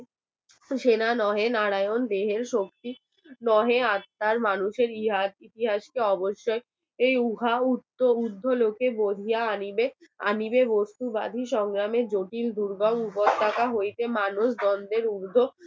মানুষের ইতিহাসকে অবশ্যই উহা উর্ধ্বলোকে বহিয়া আনিবে প্রস্তুবাদী সংগ্রামের প্রতি উপত্যকা হইতে মানুষ দ্বন্দ্বের ঊর্ধ্ব